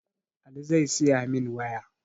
Ali zai siyamin waya